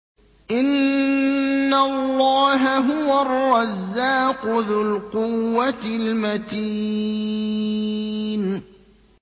إِنَّ اللَّهَ هُوَ الرَّزَّاقُ ذُو الْقُوَّةِ الْمَتِينُ